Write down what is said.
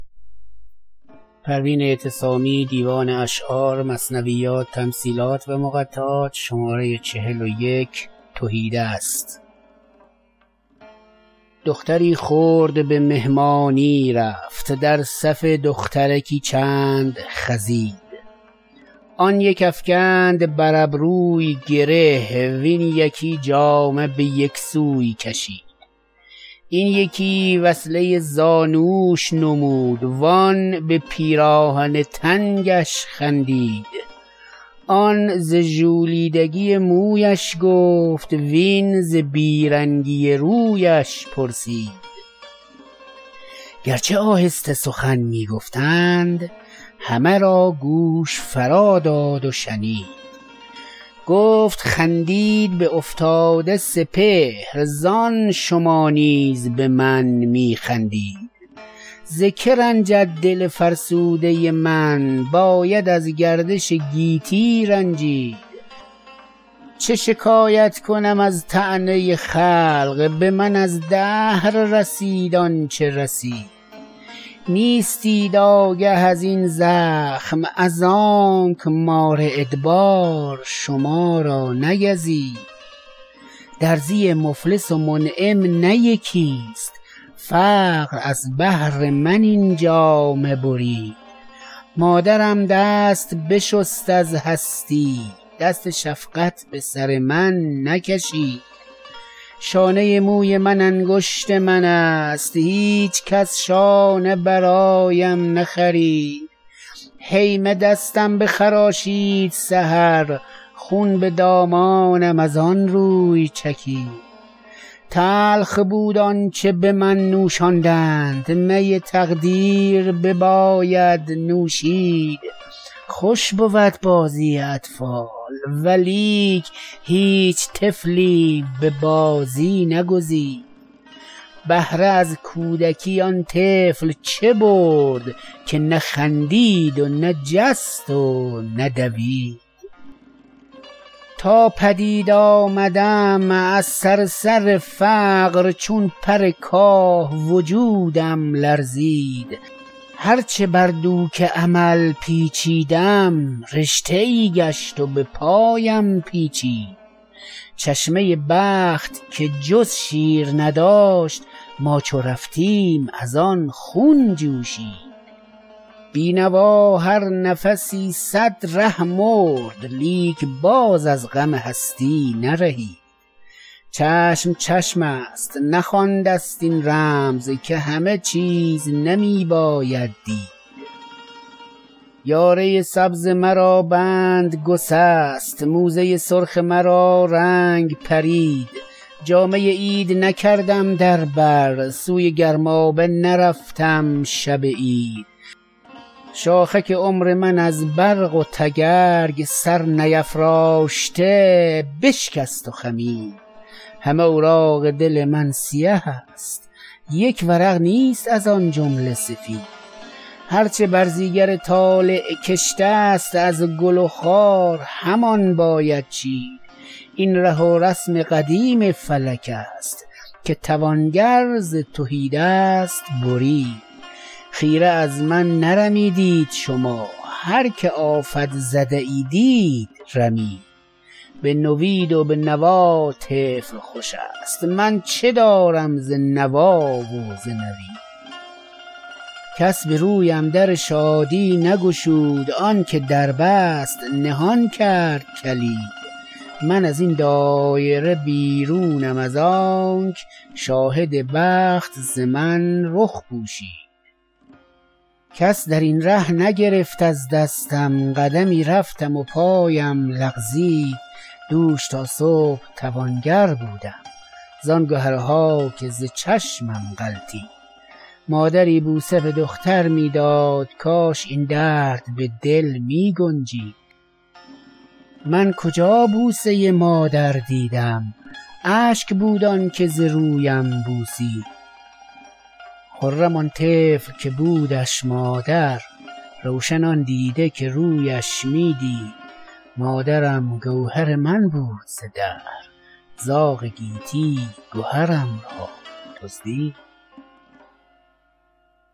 دختری خرد به مهمانی رفت در صف دخترکی چند خزید آن یک افکند بر ابروی گره وین یکی جامه به یک سوی کشید این یکی وصله زانوش نمود وان به پیراهن تنگش خندید آن ز ژولیدگی مویش گفت وین ز بیرنگی رویش پرسید گرچه آهسته سخن می گفتند همه را گوش فرا داد و شنید گفت خندید به افتاده سپهر زان شما نیز به من می خندید ز که رنجد دل فرسوده من باید از گردش گیتی رنجید چه شکایت کنم از طعنه خلق به من از دهر رسید آنچه رسید نیستید آگه ازین زخم از آنک مار ادبار شما را نگزید درزی مفلس و منعم نه یکی است فقر از بهر من این جامه برید مادرم دست بشست از هستی دست شفقت به سر من نکشید شانه موی من انگشت من است هیچکس شانه برایم نخرید هیمه دستم بخراشید سحر خون به دامانم از آنروی چکید تلخ بود آنچه به من نوشاندند می تقدیر بباید نوشید خوش بود بازی اطفال ولیک هیچ طفلیم به بازی نگزید بهره از کودکی آن طفل چه برد که نه خندید و نه جست و نه دوید تا پدید آمدم از صرصر فقر چون پر کاه وجودم لرزید هر چه بر دوک امل پیچیدم رشته ای گشت و به پایم پیچید چشمه بخت که جز شیر نداشت ما چو رفتیم از آن خون جوشید بینوا هر نفسی صد ره مرد لیک باز از غم هستی نرهید چشم چشم است نخوانده ست این رمز که همه چیز نمی باید دید یاره سبز مرا بند گسست موزه سرخ مرا رنگ پرید جامه عید نکردم در بر سوی گرمابه نرفتم شب عید شاخک عمر من از برق و تگرگ سر نیفراشته بشکست و خمید همه اوراق دل من سیه است یک ورق نیست از آن جمله سفید هر چه برزیگر طالع کشته است از گل و خار همان باید چید این ره و رسم قدیم فلک است که توانگر ز تهیدست برید خیره از من نرمیدید شما هر که آفت زده ای دید رمید به نوید و به نوا طفل خوش است من چه دارم ز نوا و ز نوید کس به رویم در شادی نگشود آنکه در بست نهان کرد کلید من از این دایره بیرونم از آنک شاهد بخت ز من رخ پوشید کس درین ره نگرفت از دستم قدمی رفتم و پایم لغزید دوش تا صبح توانگر بودم زان گهرها که ز چشمم غلطید مادری بوسه به دختر می داد کاش این درد به دل می گنجید من کجا بوسه مادر دیدم اشک بود آنکه ز رویم بوسید خرم آن طفل که بودش مادر روشن آن دیده که رویش می دید مادرم گوهر من بود ز دهر زاغ گیتی گهرم را دزدید